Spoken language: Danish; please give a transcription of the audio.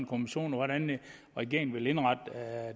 kommission og hvordan regeringen vil indrette